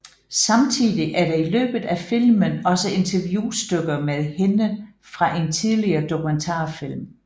Samtidig er der i løbet af filmen også interviewstykker med hende fra en tidligere dokumentarfilm